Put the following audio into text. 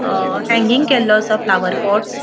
अ hanging केल्लो असा flower pots .